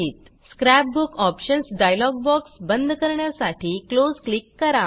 scrap book options dialog box बंद करण्यासाठी close click करा